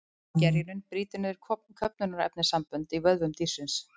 Gerjunin brýtur niður köfnunarefnissambönd í vöðvum dýrsins.